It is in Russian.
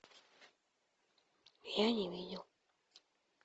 я не видел